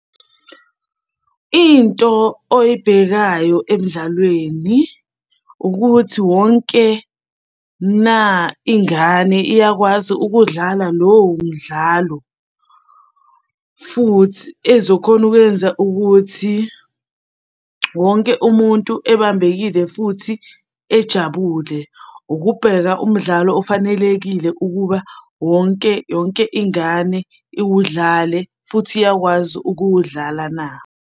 Into oyibhekayo emdlalweni, ukuthi wonke na ingane iyakwazi ukudlala lowo mdlalo, futhi ezokhona ukuyenza ukuthi wonke umuntu ebambekile futhi ejabule. Ukubheka umdlalo ofanelekile ukuba wonke yonke ingane iwudlale, futhi iyakwazi ukuwudlala na.